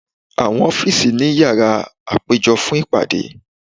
Awọn ọfiisi ni yara apejọ fun ipade